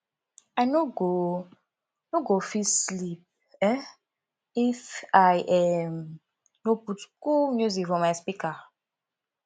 i no go no go fit sleep um if i um no put cool music for my speaker